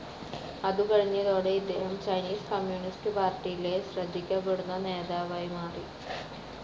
അതു കഴിഞ്ഞതോടെ ഇദ്ദേഹം ചൈനീസ് കമ്മ്യൂണിസ്റ്റ്‌ പാർട്ടിയിലെ ശ്രദ്ധിക്കപ്പെടുന്ന നേതാവായി മാറി.